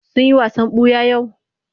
Sun yi wasan ɓuya yau?